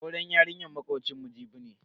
Auren yarinyar makocinmu Jibi ne.